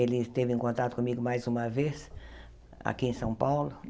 Ele esteve em contato comigo mais uma vez aqui em São Paulo.